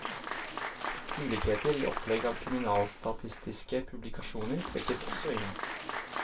Ulikheter i opplegg av kriminalstatistiske publikasjoner trekkes også inn.